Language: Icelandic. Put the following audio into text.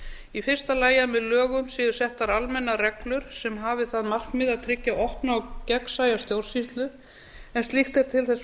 í fyrsta lagi að með lögum séu settar almennar reglur sem hafi það markmið að tryggja opna og gegnsæja stjórnsýslu en slíkt er til þess